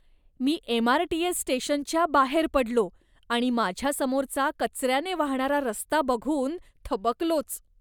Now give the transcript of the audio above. मी MRTS स्टेशनच्या बाहेर पडलो आणि माझ्यासमोरचा कचऱ्याने वाहणारा रस्ता बघून थबकलोच.